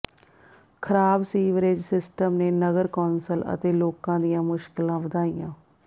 ਖਰਾਬ sewerage system ਨੇ ਨਗਰ ਕੌਂਸਲ ਅਤੇ ਲੋਕਾਂ ਦੀਆਂ ਮੁਸ਼ਕਲਾਂ ਵਧਾਈਆਂ